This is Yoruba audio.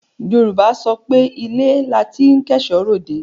Yorùbá á sọ pé ilé la ti ń kẹ́ẹ̀ṣọ́ ròde.